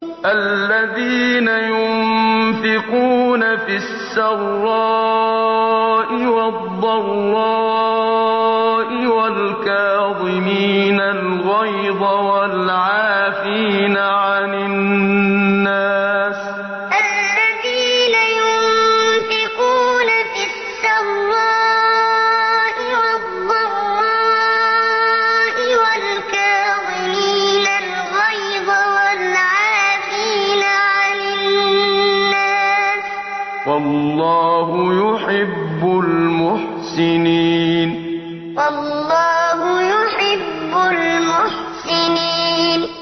الَّذِينَ يُنفِقُونَ فِي السَّرَّاءِ وَالضَّرَّاءِ وَالْكَاظِمِينَ الْغَيْظَ وَالْعَافِينَ عَنِ النَّاسِ ۗ وَاللَّهُ يُحِبُّ الْمُحْسِنِينَ الَّذِينَ يُنفِقُونَ فِي السَّرَّاءِ وَالضَّرَّاءِ وَالْكَاظِمِينَ الْغَيْظَ وَالْعَافِينَ عَنِ النَّاسِ ۗ وَاللَّهُ يُحِبُّ الْمُحْسِنِينَ